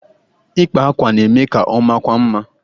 Ịkpa àkwá na-eme ka ọmakwuo mma